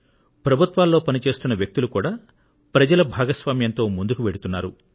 ప్రభుత్వాల్లో పని చేస్తున్న వ్యక్తులు కూడా ప్రజల భాగస్వామ్యంతో ముందుకు వెళ్తున్నారు